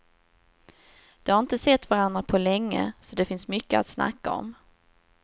De har inte sett varandra på länge så det finns mycket att snacka om.